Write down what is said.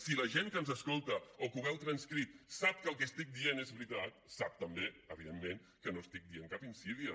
si la gent que ens escolta o que ho veu transcrit sap que el que estic dient és veritat sap també evidentment que no estic dient cap insídia